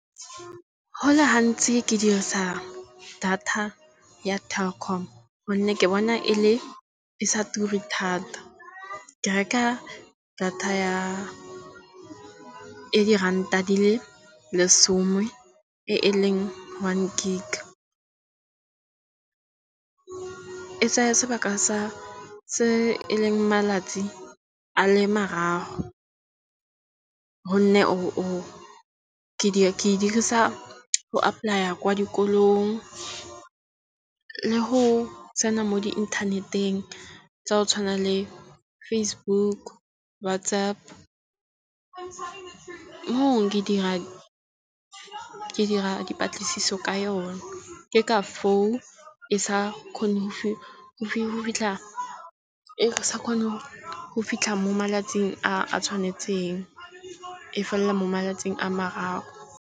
Go le gantsi ke dirisa data ya Telkom. Gonne ke bona e le e sa ture thata. Ke reka data ya e diranta di le lesome e leng one gig. E tsaya sebaka sa se e leng malatsi a le mararo. Gonne o ke di ke dirisa go apply-a kwa dikolong le go tsena mo di internet-eng tsa go tshwana le Facebook, WhatsApp, ke dira dipatlisiso ka yone. Ke ka foo e sa kgone go fitlha e sa kgone go fitlha mo malatsing a tshwanetseng. E felela mo malatsing a mararo.